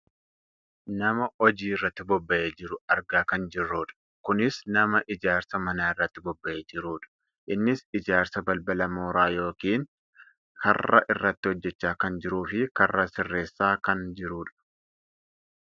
Nama hojii irratti bobbahee jiru argaa kan jirrudha. Kunis nama ijaarsa manaa irratti bobbahee jirudha. Innis ijaarsa balbala mooraa yookaan karraa irratti hojjachaa kan jiruu fi karra sirreessaa kan jirudha.